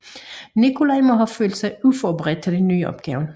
Nikolaj må have følt sig uforberedt til den nye opgave